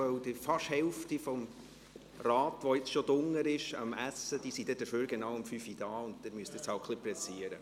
Denn die knappe Hälfte, die schon unten am Essen ist, ist dafür genau um 17 Uhr wieder da, und Sie müssen sich nun etwas beeilen.